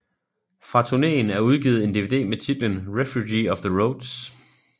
Fra turneen er udgivet en dvd med titlen Refuge of the Roads